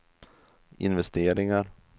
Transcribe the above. investeringar